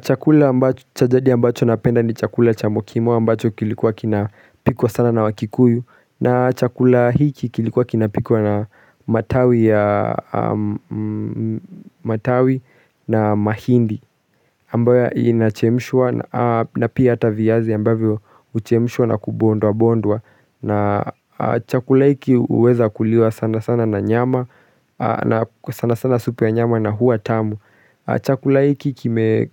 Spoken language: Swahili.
Chakula ambacho chajadi ambacho napenda ni chakula cha mokimo ambacho kilikuwa kinapikwa sana na wakikuyu na chakula hiki kilikuwa kinapikwa na matawi na mahindi ambayo inachemshwa na pia hata viazi ambavyo huchemshwa na kubondwabondwa na chakula hiki huweza kuliwa sana sana na nyama na sana sana supi ya nyama na hua tamu Chakula hiki